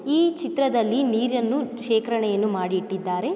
ಈ ಚಿತ್ರದಲ್ಲಿ ನೀರನ್ನು ಶೇಖರಣೆಯನ್ನು ಮಾಡಿ ಇಟ್ಟಿದ್ದಾರೆ.